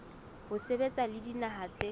ho sebetsa le dinaha tse